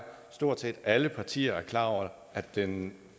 at stort set alle partier er klar over at den